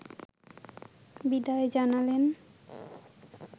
বিদায় জানালেন